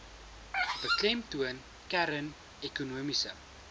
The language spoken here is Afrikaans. beklemtoon kern ekonomiese